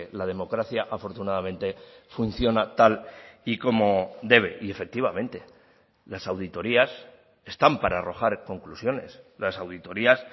la democracia afortunadamente funciona tal y como debe y efectivamente las auditorías están para arrojar conclusiones las auditorias